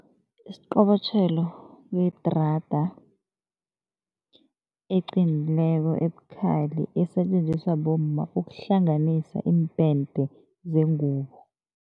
Isiqobotjhelo kuyidrada eqinileko, ebukhali, esetjenziswa bomma ukuhlanganisa iimpende zengubo.